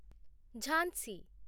Jhansi